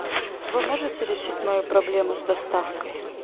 вы можете решить мою проблему с доставкой